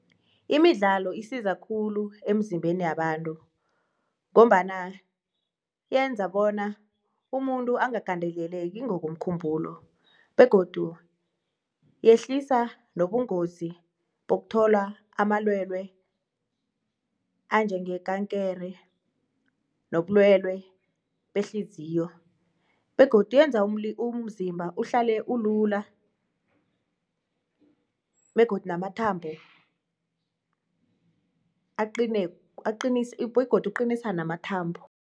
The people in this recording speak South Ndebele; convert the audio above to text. Imidlalo isiza khulu emzimbeni yabantu ngombana yenza bona umuntu angagandeleleki ngokomkhumbulo begodu yehlisa nobungozi bokuthola amalwele anjengekankere nobulwele behliziyo begodu yenza umzimba uhlale ulula begodu namathambo aqine, begodu uqinisa namathambo.